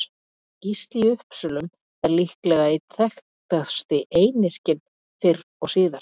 Gísli í Uppsölum er líklega einn þekktasti einyrkinn fyrr og síðar.